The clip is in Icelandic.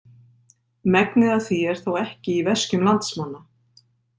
Megnið af því er þó ekki í veskjum landsmanna.